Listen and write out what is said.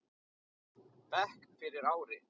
bekk fyrir ári.